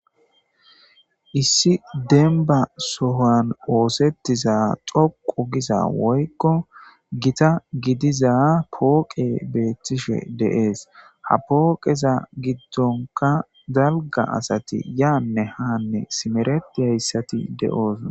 Issi denba sohan oosettiza xoqu giza woykko gita gidiza pooqe beettishe deees ha pooqeza giddonka zalga asati yaanne haanne simeret hayssati de'oos